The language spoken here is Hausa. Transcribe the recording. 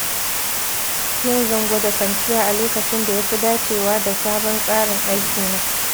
Yau zan gwada kwanciya a lokacin da ya fi dacewa da sabon tsarin aikina.